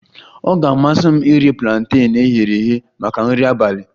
Ọ ga-amasị m iri planten e ghere eghe maka nri abalị